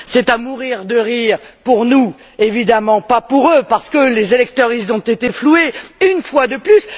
C'est à mourir de rire pour nous évidemment pas pour eux parce que les électeurs ont été floués une fois de plus.